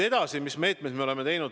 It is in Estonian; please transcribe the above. Edasi, mis meetmeid me veel oleme võtnud.